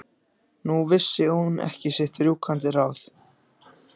Nú vissi hún ekki sitt rjúkandi ráð.